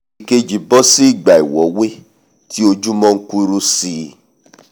ìkejì bọ́ sí ìgbà ìwọ́wé tí ojúmọ́ n kuru síi